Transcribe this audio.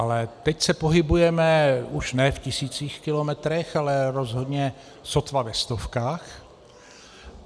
Ale teď se pohybujeme už ne v tisících kilometrů, ale rozhodně sotva ve stovkách.